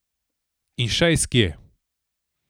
In še iz kje.